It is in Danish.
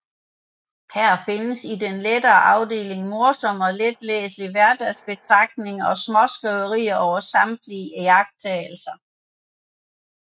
Her findes i den lette afdeling morsomme og letlæselige hverdagsbetragtninger og småskriverier over samtidige iagttagelser